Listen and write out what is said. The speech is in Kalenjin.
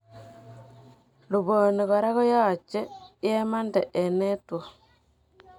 Luponi koraa yaachet yemandee eng' network